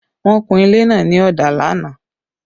The painting of the building was done yesterday